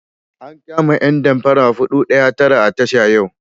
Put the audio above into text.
An kama ƴan damparan 419 a tasha yau.